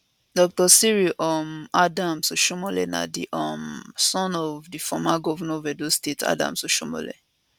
dr cyril um adams oshiomhole na di um son of di former govnor of edo state adams oshiomhole